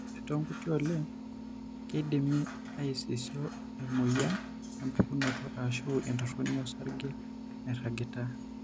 Ore toonkuti oleng, keidimi aisisho oemuoyian empukunoto ashu entoroni osarge nairagita.